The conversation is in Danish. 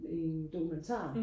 en dokumentar